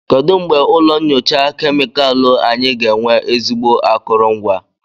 Kedu mgbe ụlọ nyocha kemịkalụ anyị ga-enwe ezigbo akụrụngwa?